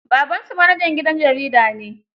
Babansu manajan gidan jarida ne.